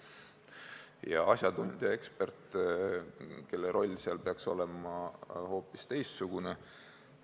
Ent asjatundja-eksperdi roll peaks olema hoopis teistsugune.